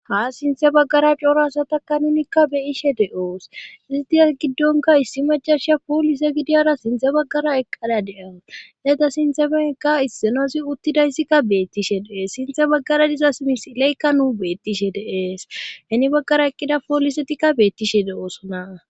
Ha sinthe baggara coorasa takka nunikka beyishe de7oos istiyas giddonka issi majaisha poolise gidiyara sinthe baggara eqqalea de7a heda sinthemeekka issinosi uttidayssikka beettishe deees sinthe baggara diza smisileykka nuu bettishe deees heni baggara eqqida poolisetikka beettishe de oosona